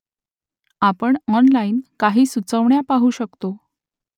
आपण ऑनलाइन काही सुचवण्या पाहू शकतो